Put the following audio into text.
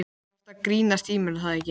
Þú ert að grínast í mér er það ekki?